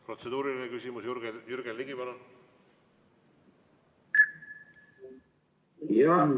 Protseduuriline küsimus, Jürgen Ligi, palun!